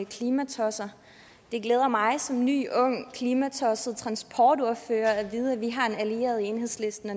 klimatosser det glæder mig som ny ung klimatosset transportordfører at vide at vi har en allieret i enhedslisten